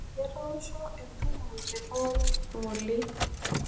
Etoosho entumo te hall ng'ole.